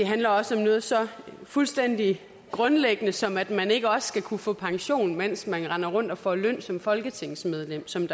handler også om noget så fuldstændig grundlæggende som at man ikke også skal kunne få pension mens man render rundt og får løn som folketingsmedlem som